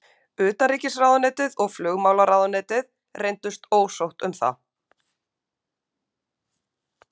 Utanríkisráðuneytið og flugmálaráðuneytið reyndust ósátt um það.